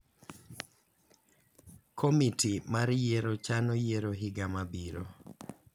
Komiti mar yiero chano yiero higa mabiro.